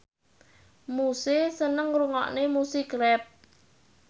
Muse seneng ngrungokne musik rap